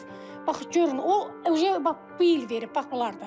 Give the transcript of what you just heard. Orda biz bax görün, o uje bu il verib bax bunlarda.